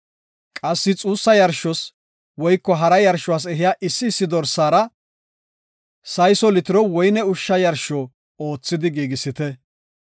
Qassi xuussa yarshos woyko hara yarshos ehiya issi issi dorsaara sayso litiro woyne ushsha yarsho oothidi giigisite.